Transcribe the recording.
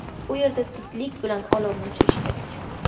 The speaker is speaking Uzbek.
U yerda zudlik bilan olovni o‘chirish kerak.